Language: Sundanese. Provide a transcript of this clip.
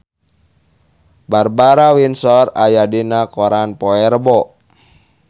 Barbara Windsor aya dina koran poe Rebo